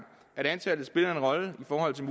at antallet spiller en rolle i forhold til